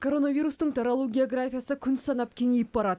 коронавирустың таралу географиясы күн санап кеңейіп барады